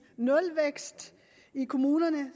nulvækst i kommunerne